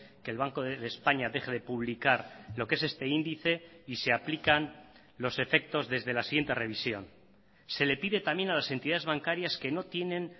que el banco de españa deje de publicar lo que es este índice y se aplican los efectos desde la siguiente revisión se le pide también a las entidades bancarias que no tienen